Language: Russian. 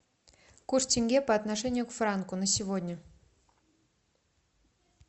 курс тенге по отношению к франку на сегодня